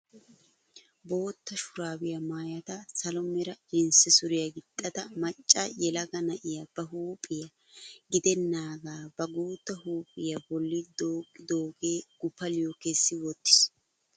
Bootta shuraabiyaa maayada salo mera jinsse suriyaa gixxida macca yelaga na'iyaa ba huuphphiyaa gidenaaga ba guutta huuphphiyaa bolli dooqqidoogee guppaliyoo kessi wottiis!